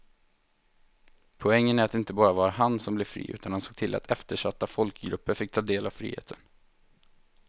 Poängen är att det inte bara var han som blev fri utan han såg till att eftersatta folkgrupper fick ta del av friheten.